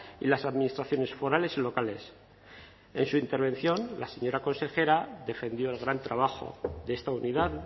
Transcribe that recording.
y las administraciones forales y locales en su intervención la señora consejera defendió el gran trabajo de esta unidad